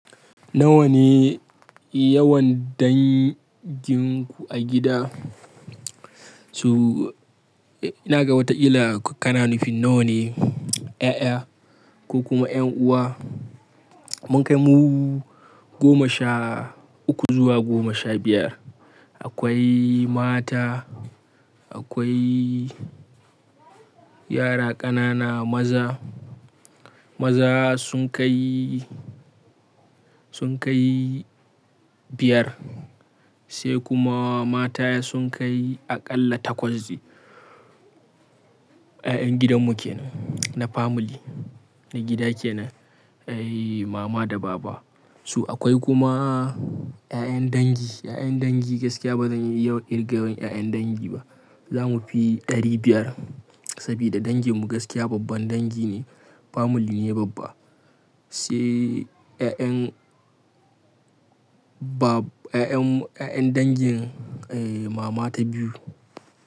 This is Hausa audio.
Nawa ne yawan danginku a gida? To, ina ga wata ƙila kana nufin nawa ne ƴaƴa ko kuma ƴan uwa. Mun kai mu goma sha uku zuwa goma sha biyar. Akwai mata, akwai yara ƙanana maza. Maza sun kai, sun kai biyar, sai kuma mata sun kai aƙalla takwas. Ƴaƴan gidan mu ke nan na family, na gida ke nan. Ƴaƴan mama da baba. To akwai kuma ƴaƴan dangi. Ƴaƴan dangi gaskiya ba zan iya yawan kirga wa ƴaƴan dangi ba. Za mu fi ɗari biyar saboda danginmu gaskiya babban dangi ne. Family ne babba. Sai ƴaƴan ba, ƴaƴan, ƴaƴan dangin eh mama ta biyu.